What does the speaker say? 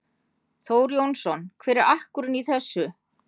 Þór Jónsson: Hver er akkurinn í þessu?